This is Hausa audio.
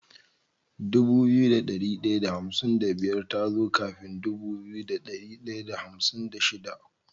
Dubu biyu da dari daya da hamsin da biyar tazo kafin Dubu biyu da dari daya da hamsin da shida